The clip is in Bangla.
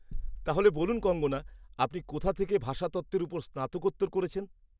-তাহলে বলুন কঙ্গনা, আপনি কোথা থেকে ভাষাতত্ত্বের ওপর স্নাতকোত্তর করেছেন?